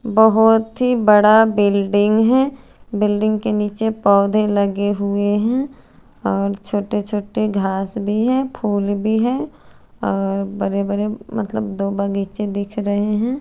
बोहोत ही बड़ा बिल्डिंग है बिल्डिंग के निचे पोधे लगे हुए है और छोटे छोटे घास भी है फुल भी है अ बरे बरे मतलब दो बगीचे दिख रहे है।